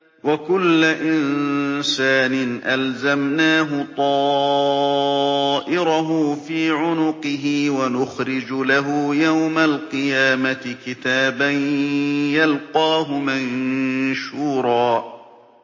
وَكُلَّ إِنسَانٍ أَلْزَمْنَاهُ طَائِرَهُ فِي عُنُقِهِ ۖ وَنُخْرِجُ لَهُ يَوْمَ الْقِيَامَةِ كِتَابًا يَلْقَاهُ مَنشُورًا